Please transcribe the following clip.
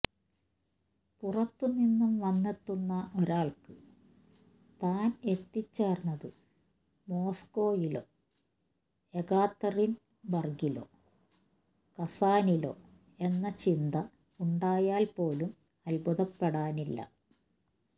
പുറത്തു നിന്നും വന്നെത്തുന്ന ഒരാൾക്ക് താൻ എത്തിച്ചേർന്നത് മോസ്കോയിലോ എകാത്തറിൻ ബർഗിലോ കസാനിലോ എന്ന ചിന്ത ഉണ്ടായാൽ പോലും അത്ഭുതപ്പെടാനില്ല